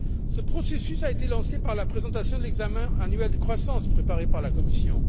Ce processus a été lancé par la présentation de l'examen annuel de croissance préparé par la Commission.